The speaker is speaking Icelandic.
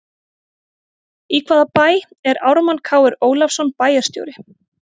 Í hvaða bæ er Ármann Kr Ólafsson bæjarstjóri?